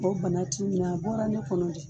O bana t'i minɛ, a bɔra ne kɔnɔ de.